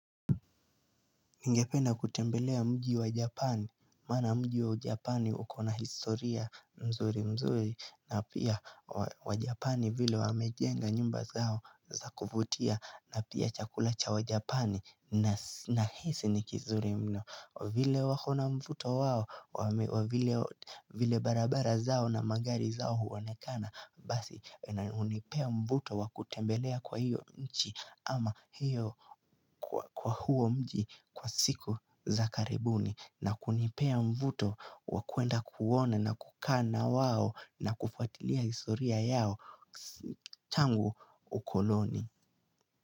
Ningependa kutembelea mji wa japani, mana mji wa japani ukona historia mzuri mzuri na pia wa japani vile wamejenga nyumba zao za kuvutia na pia chakulacha wa japani na hisi nikizuri mno vile wakona mvuto wao, vile barabara zao na magari zao huone kana Basi, unipea mvuto wakutembelea kwa hiyo nchi ama hiyo kwa huo mji kwa siku za karibuni na kunipea mvuto wakuenda kuona na kukaa na wao na kufuatilia istoria yao tangu ukoloni.